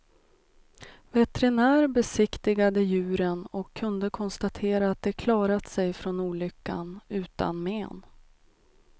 Veterinär besiktigade djuren, och kunde konstatera att de klarat sig från olyckan utan men.